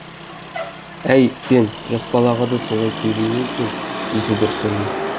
әй сен жас балаға да солай сөйлей ме екен есі дұрыс әйел